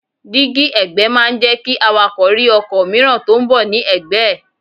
Dígí ẹ̀gbẹ́ máa ń jẹ́ kí awakọ̀ rí ọkọ̀ mìíràn tí ó ń bọ̀ ní ẹ̀gbẹ́ ẹ̀.